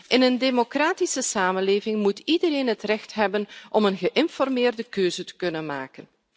In een democratische samenleving moet iedereen het recht hebben om een geïnformeerde keuze te kunnen maken.